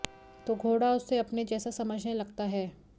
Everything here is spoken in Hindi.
तो घोड़ा उसे अपने जैसा समझने लगता है